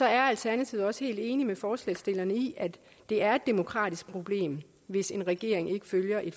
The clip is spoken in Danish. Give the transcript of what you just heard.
er alternativet også helt enig med forslagsstillerne i at det er et demokratisk problem hvis en regering ikke følger en